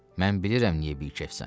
Mən bilirəm niyə bikefsən.